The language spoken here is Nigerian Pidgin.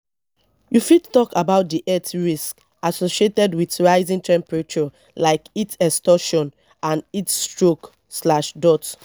you fit talk about di health risks associated with rising temperatures like heat exhaustion and heat stroke.